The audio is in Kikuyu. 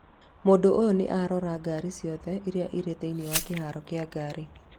Mũndũ ũyũ nĩ arora ngaari ciothe iria irĩ thĩinĩ wa kĩharo kĩa ngari